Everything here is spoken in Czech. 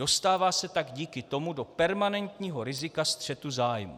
Dostává se tak díky tomu do permanentního rizika střetu zájmů.